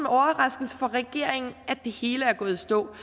overraskelse for regeringen at det hele er gået i stå